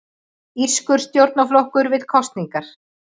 Írskur stjórnarflokkur vill kosningar